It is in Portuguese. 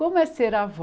Como é ser avó?